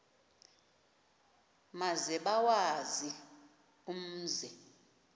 maze bawazi umzi